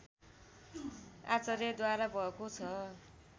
आचार्यद्वारा भएको छ